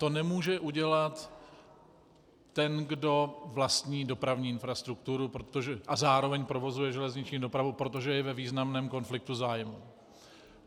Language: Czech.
To nemůže udělat ten, kdo vlastní dopravní infrastrukturu a zároveň provozuje železniční dopravu, protože je ve významném konfliktu zájmů.